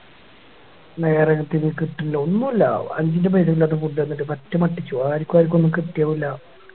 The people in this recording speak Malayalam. നേരെ ലേക്ക് എത്തുന്നില്ല ഒന്നുല്ല അഞ്ചിൻറെ പൈസക്കിലാത്ത Food തന്നിട്ട് പറ്റെ പറ്റിച്ചു ആരിക്കു ആരിക്കൊന്നും കിട്ടിയതുല്ല